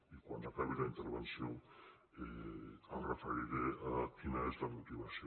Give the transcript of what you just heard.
i quan acabi la intervenció em referiré a quina és la motivació